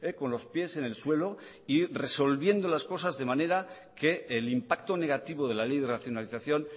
con los pies en el suelo y resolviendo las cosas de manera que el impacto negativo de la ley de racionalización